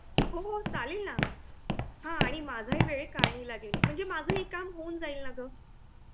हो हो चालेल ना हा आणि माझाही वेळ कारणि लागेल, माझ ही हे काम होऊन जाईल न ग